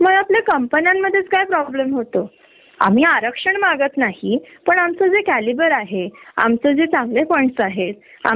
तेव्हा त्यांनी सांगितले नाही नाही मॅडम तुमच्या आताच खूप सुट्ट्या झाल्यात तुम्हाला एवढ्या सुट्ट्या मिळणार नाहीत तुम्हाला हाल्फ डे च मिळतील. म्हणजे तुम्ही क्वालीफाईड आहात